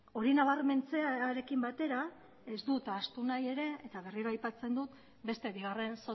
hori nabarmentzearekin batera ez dut ahaztu nahi ere eta berriro aipatzen dut beste bigarren